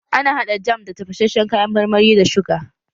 Ana haɗa jam da tafashashen kayan marmari da suga